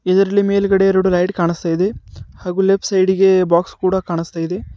ಇದರಲ್ಲಿ ಮೇಲ್ಗಡೆ ಎರಡು ಲೈಟ್ ಕಾಣಿಸ್ತಾಯಿದೆ ಹಾಗೂ ಲೆಫ್ಟ್ ಸೈಡಿಗೆ ಬಾಕ್ಸ್ ಕೂಡ ಕಾಣಿಸ್ತಾಯಿದೆ.